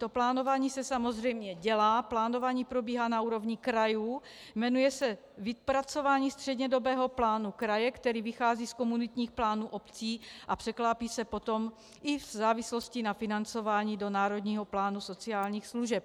To plánování se samozřejmě dělá, plánování probíhá na úrovni krajů, jmenuje se vypracování střednědobého plánu kraje, který vychází z komunitních plánů obcí a překlápí se potom i v závislosti na financování do Národního plánu sociálních služeb.